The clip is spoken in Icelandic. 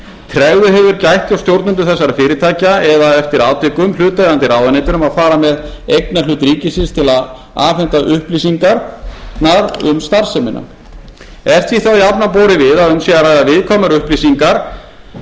tregðu hefur gætt hjá stjórnendum þessara fyrirtækja eða eftir atvikum hlutaðeigandi ráðuneytum sem fara með eignarhlut ríkisins til að afhenda upplýsingar um starfsemina er því þá jafnan borið við að um sé að ræða viðkvæmar